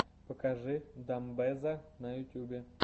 покажи дамбэзза на ютубе